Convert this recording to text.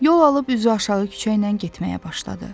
Yol alıb üzü aşağı küçə ilə getməyə başladı.